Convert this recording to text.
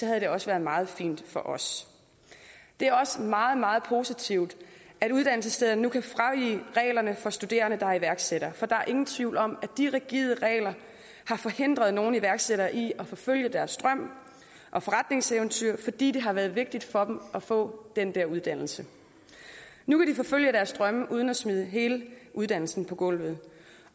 havde det også været meget fint for os det er også meget meget positivt at uddannelsesstederne nu kan fravige reglerne for studerende der er iværksættere for der er ingen tvivl om at de rigide regler har forhindret nogle iværksættere i at forfølge deres drøm og forretningseventyr fordi det har været vigtigt for dem at få den der uddannelse nu kan de forfølge deres drømme uden at smide hele uddannelsen på gulvet